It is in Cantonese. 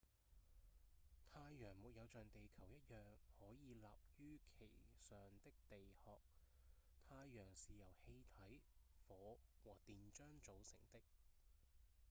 太陽沒有像地球一樣可以立於其上的地殼太陽是由氣體、火和電漿組成的